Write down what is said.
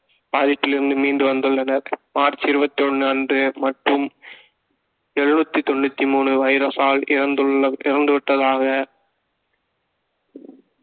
பாதிப்பிலிருந்து மீண்டு வந்துள்ளனர் மார்ச் இருபத்தி ஒண்ணு அன்று மற்றும் எழுபத்தி தொண்ணூத்தி மூணு வைரஸால் இறந்துவிட்டதாக